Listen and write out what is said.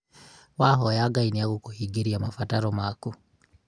Wahoya Ngai nĩagũkũhingiria mabataro maku